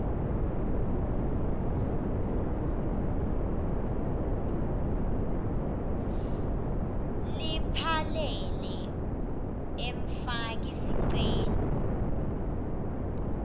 laphelele emfaki sicelo